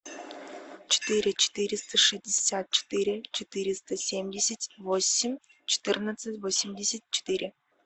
четыре четыреста шестьдесят четыре четыреста семьдесят восемь четырнадцать восемьдесят четыре